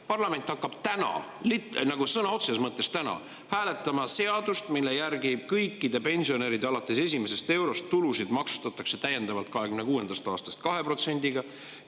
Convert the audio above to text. Parlament hakkab täna, sõna otseses mõttes täna, hääletama seadust, mille järgi kõikide pensionäride tulusid alates esimesest eurost maksustatakse 2026. aastast täiendavalt 2%‑ga.